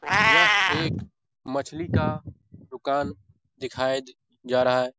यह एक मछली का दुकान दिखाया जा रहा है।